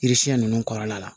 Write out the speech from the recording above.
Yiri siɲɛ ninnu kɔrɔla la